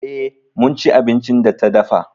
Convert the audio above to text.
E, mun ci abincin da ta dafa.